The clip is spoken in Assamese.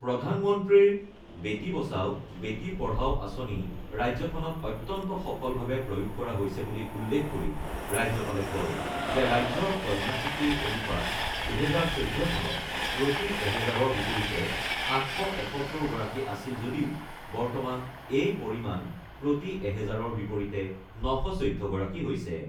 প্ৰধানমন্ত্ৰীৰ বেটী বচাও বেটী পঢ়াও আঁচনি ৰাজ্যখনত অত্যন্ত সফলভাৱে প্ৰয়োগ কৰা হৈছে বুলি উল্লেখ কৰি ৰাজ্যপালে কয় যে, ৰাজ্যৰ কন্যা শিশুৰ অনুপাত ২০১৪ চনত প্ৰতি এহেজাৰৰ বিপৰীতে ৮৭১গৰাকী আছিল যদিও বৰ্তমান এই পৰিমাণ প্ৰতি এহেজাৰৰ বিপৰীতে ৯১৪গৰাকী হৈছে।